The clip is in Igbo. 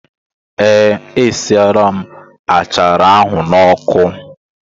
Ee, esiela m achara ahụ n'ọkụ.